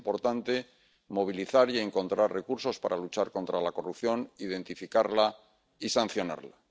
Es importante movilizar y encontrar recursos para luchar contra la corrupción, identificarla y sancionarla.